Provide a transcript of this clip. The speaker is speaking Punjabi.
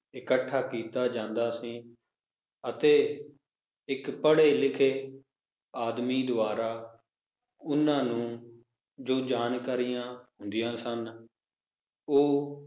ਇਕੱਠਾ ਕੀਤਾ ਜਾਂਦਾ ਸੀ ਅਤੇ ਇੱਕ ਪੜ੍ਹੇ-ਲਿਖੇ ਆਦਮੀ ਦਵਾਰਾ ਓਹਨਾ ਨੂੰ ਜੋ ਜਾਣਕਾਰੀਆਂ ਹੁੰਦੀਆਂ ਸਨ, ਉਹ